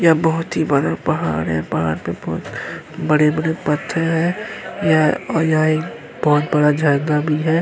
यहाँ बहुत ही बड़ा पहाड़ है पहाड़ पे बहुत बड़े-बड़े पत्थर हैं यहाँ और यहाँ एक बहुत बड़ा झरना भी है।